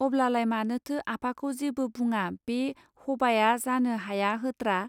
अब्लालाय मानोथो आफाखौ जेबो बुङा बे हबाया जानो हाया होत्रा?